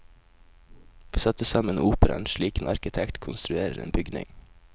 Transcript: Vi satte sammen operaen slik en arkitekt konstruerer en bygning.